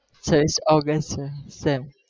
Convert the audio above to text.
છવીસ august છે same